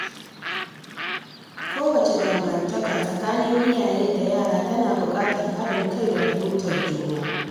Kowace dangantaka tsakanin iyaye da yara tana buƙatar haɗin kai da fahimtar juna.